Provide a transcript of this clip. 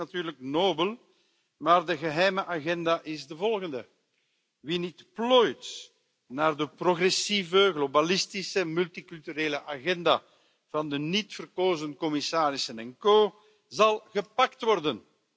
Dat klinkt natuurlijk nobel, maar de geheime agenda is de volgende wie niet plooit naar de progressieve, globalistische, multiculturele agenda van de niet verkozen commissarissen en co zal gepakt worden.